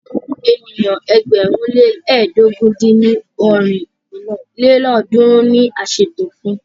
Ènìyàn ẹgbẹ̀rún le lẹ́ẹdógún dín ní ọ́rin lélọ́ọ̀dúnrún ni a ṣètò fún.